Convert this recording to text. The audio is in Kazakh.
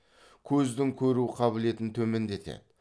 көздің көру қабілетін төмендетеді